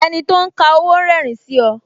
Enito ń ka owó rerin sí ọ